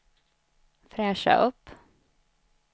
fräscha upp